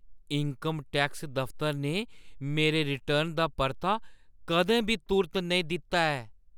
Income tax दफ्तर ने मेरे रिटर्न दा परता कदें बी तुर्त नेईं दित्ता ऐ।